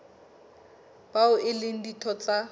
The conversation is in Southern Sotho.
bao e leng ditho tsa